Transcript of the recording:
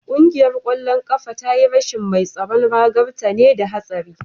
Kungiyar kwallon kafa ta yi rashin mai tsaron ragar ta ne da hatsari